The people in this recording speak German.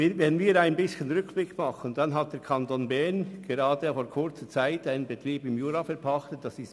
Im Rückblick zeigt sich, dass der Kanton Bern kürzlich den Betrieb «La Praye» im Jura verpachtet hat.